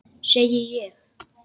Segi ég.